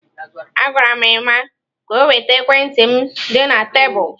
Agwara m Emma ka o weta ekwentị m dị na tebụl.